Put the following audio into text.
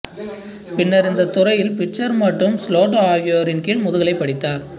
பின்னர் இந்தத் துறையில் பிட்சர் மற்றும் ஸ்லோட்டோ ஆகியோரின் கீழ் முதுகலை படித்தார்